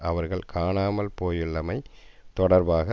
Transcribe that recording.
அவர்கள் காணாமல் போயுள்ளமை தொடர்பாக